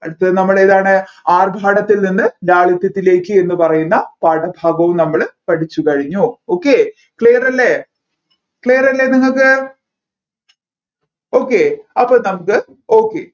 അടുത്ത നമ്മൾ ഏതാണ് ആർഭാടത്തിൽ നിന്ന് ലാളിത്യത്തിലേക്ക് എന്ന് പറയുന്ന പാഠഭാഗവും നമ്മൾ പഠിച്ചു കഴിഞ്ഞു okayclear അല്ലേ clear യല്ലേ നിങ്ങൾക്ക് okay അപ്പോ നമ്മുക്ക് okay